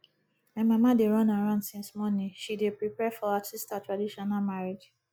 my mama dey run around since morning she dey prepare for her sister traditional marriage